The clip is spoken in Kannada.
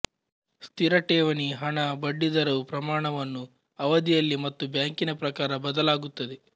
ಸ್ಥಿರ ಠೇವಣಿ ಹಣ ಬಡ್ಡಿ ದರವು ಪ್ರಮಾಣವನ್ನು ಅವಧಿಯಲ್ಲಿ ಮತ್ತು ಬ್ಯಾಂಕಿನ ಪ್ರಕಾರ ಬದಲಾಗುತ್ತದೆ